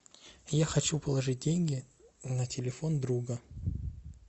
я хочу положить деньги на телефон друга